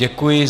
Děkuji.